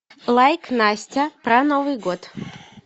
лайк настя про новый год